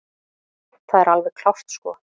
Það er alveg klárt sko.